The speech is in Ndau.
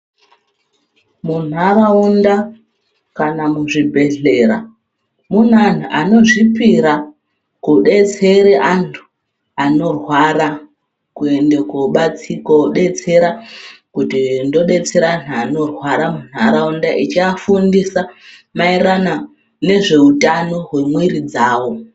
Muntaraunda kana muzvibhehlera mune antu anozvipira kudetsere antu anorwara kuenda kodetsera kuti ndodetsera antu anorwara muntaraunda echiyafundisa mayererano nezveutano wemwiri dzavo.